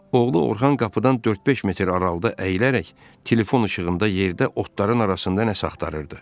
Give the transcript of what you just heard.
Oğlu Orxan qapıdan dörd-beş metr aralıda əyilərək telefon işığında yerdə otların arasında nəsə axtarırdı.